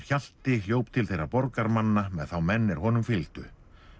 Hjalti hljóp til þeirra með þá menn er honum fylgdu